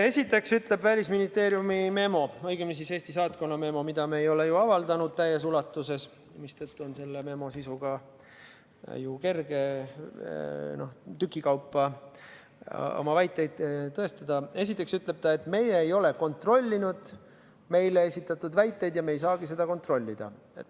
Esiteks ütleb Välisministeeriumi memo – õigemini siis Eesti saatkonna memo, mida me ei ole ju avaldanud täies ulatuses, mistõttu on selle memo sisuga kerge tükikaupa oma väiteid tõestada –, aga esiteks ütleb ta, et meie ei ole kontrollinud meile esitatud väiteid ja me ei saagi seda kontrollida.